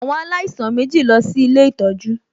Àwọn alaisan mèjí lọ sí Ilé ìtọ́jú